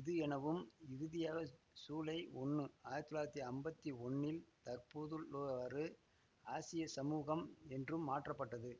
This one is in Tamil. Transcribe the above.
இது எனவும் இறுதியாக சூலை ஒன்னு ஆயிரத்தி தொள்ளாயிரத்தி அம்பத்தி ஒன்னில் தற்போதுள்ளவாறு ஆசியச் சமூகம் என்றும் மாற்றப்பட்டது